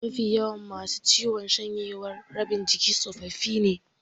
Mafi yawan masu ciwon shanyewar rabin jiki tsofaffi ne.